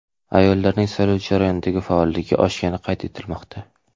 Ayollarning saylov jarayonidagi faolligi oshgani qayd etilmoqda.